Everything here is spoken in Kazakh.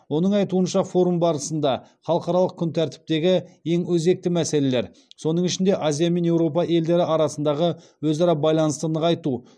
оның айтуынша форум барысында халықаралық күн тәртіптегі ең өзекті мәселелер соның ішінде азия мен еуропа елдері арасындағы өзара байланысты нығайту